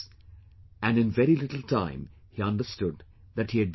And in very little time, he understood that he had been looted